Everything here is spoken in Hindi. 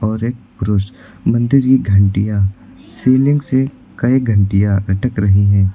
और एक पुरुष मंदिर की घंटियां सीलिंग से कई घंटियां अटक रही है।